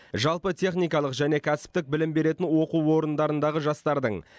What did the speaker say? жалпы техникалық және кәсіптік білім беретін оқу орындарындағы жастардың